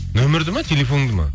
нөмірді ме телефоныңды ма